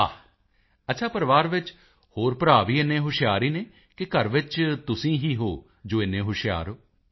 ਵਾਹ ਅੱਛਾ ਪਰਿਵਾਰ ਵਿੱਚ ਹੋਰ ਭਰਾ ਵੀ ਇੰਨੇ ਹੀ ਹੁਸ਼ਿਆਰ ਹਨ ਕਿ ਘਰ ਵਿੱਚ ਤੁਸੀਂ ਹੀ ਹੋ ਜੋ ਇੰਨੇ ਹੁਸ਼ਿਆਰ ਹੋ